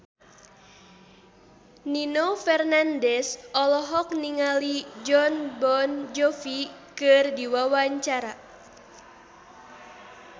Nino Fernandez olohok ningali Jon Bon Jovi keur diwawancara